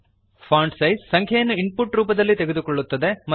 font size ಸಂಖ್ಯೆಯನ್ನು input ನ ರೂಪದಲ್ಲಿ ತೆಗೆದುಕೊಳ್ಳುತ್ತದೆ